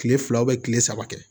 Kile fila kile saba kɛ